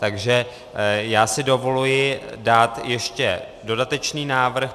Takže já si dovoluji dát ještě dodatečný návrh.